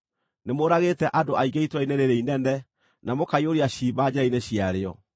Nĩmũũragĩte andũ aingĩ itũũra-inĩ rĩĩrĩ inene, na mũkaiyũria ciimba njĩra-inĩ ciarĩo.